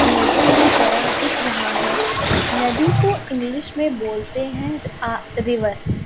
नदी की तरह दिख रहा है नदी को इंग्लिश मे बोलते हैं अह रिवर ।